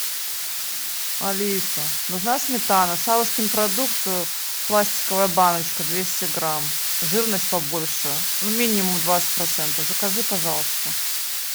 алиса нужна сметана савушкин продукт пластиковая баночка двести грамм жирность побольше ну минимум двадцать процентов закажи пожалуйста